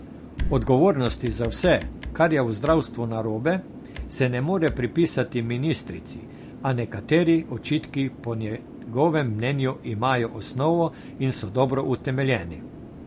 Odgovornosti za vse, kar je v zdravstvu narobe, se ne more pripisati ministrici, a nekateri očitki po njegovem mnenju imajo osnovo in so dobro utemeljeni.